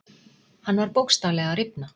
Hann var bókstaflega að rifna.